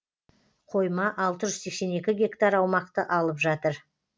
қойма алты жүз сексен екі гектар аумақты алып жатыр